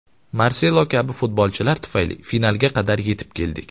Marselo kabi futbolchilar tufayli finalga qadar yetib keldik.